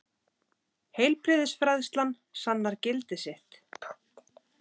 Heilbrigðisfræðslan sannar gildi sitt.